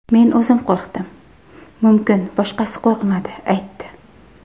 Men o‘zim qo‘rqdim, mumkin boshqasi qo‘rqmadi aytdi.